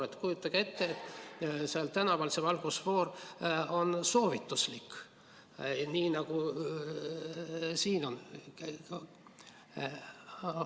Kas te kujutate ette, et ka tänaval on valgusfoor soovituslik, nii nagu siin on?